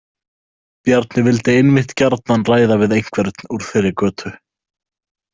Bjarni vildi einmitt gjarnan ræða við einhvern úr þeirri götu.